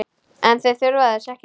En þau þurfa þess ekki.